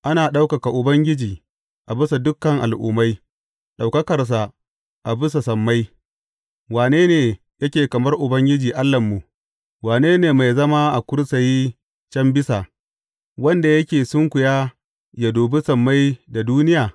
Ana ɗaukaka Ubangiji a bisa dukan al’ummai, ɗaukakarsa a bisa sammai Wane ne yake kamar Ubangiji Allahnmu, Wannan mai zama a kursiyi can bisa, wanda yake sunkuya yă dubi sammai da duniya?